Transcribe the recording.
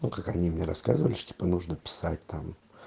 ну как они мне рассказывали что типо нужно писать там